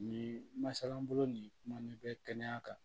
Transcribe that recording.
Nin masalan bolo nin kumani bɛ kɛnɛya kan